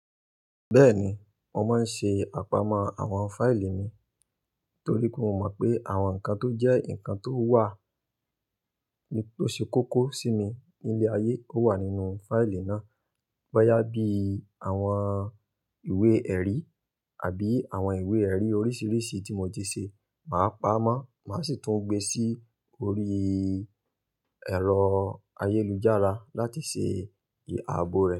Bẹ́ẹ̀ni, mo máa ń ṣe àpamọ́ àwọn fáìlì mi torí kí ó mọ̀ pé àwọn nǹkan tó jẹ́ nǹkan tó wà, tó ṣe kókó sí mi ní ilé ayé ó wà nínú fáìlì náà. Bóyá bí àwọn ìwé-ẹ̀rí àbí àwọn ìwé-ẹ̀rí oríṣiríṣi tí mo ti ṣe, màá pamọ́, màá sì tún gbe sí orí. Ẹ̀rọ ayélujára láti ṣe ì-ààbò rẹ̀